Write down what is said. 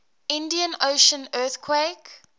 indian ocean earthquake